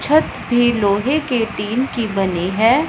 छत भी लोहे के टीन की बनी है।